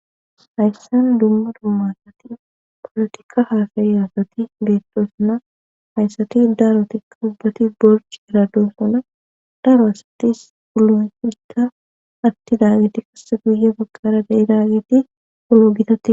Hayssan dumma dummasati polotikka haafayasati beettosuna hayssati daarotikka ubbati borci irado suna daro asatis pulufikka atti daageti kasse guye baqara da7i daageti ulo gitati